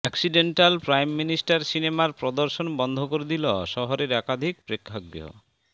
accidental prime minister সিনেমার প্রদর্শন বন্ধ করে দিল শহরের একাধিক প্রেক্ষাগৃহ